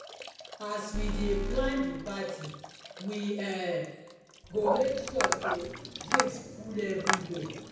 as we dey plan di party we um go make sure sey drinks full everywhere.